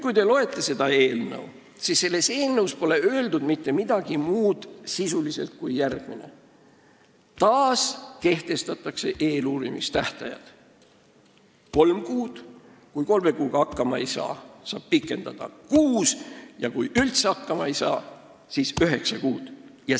Kui te nüüd seda eelnõu loete, siis te näete, et siin pole sisuliselt öeldud mitte midagi muud peale selle, et taaskehtestatakse eeluurimistähtajad: kui kolme kuuga hakkama ei saa, saab eeluurimist pikendada kuuele kuule ning kui ikka üldse hakkama ei saa, siis üheksale kuule.